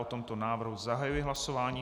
O tomto návrhu zahajuji hlasování.